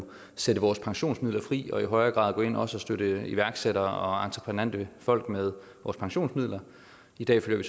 sætte vores pensionsmidler fri og i højere grad gå ind og også støtte iværksættere og entreprenante folk med vores pensionsmidler i dag følger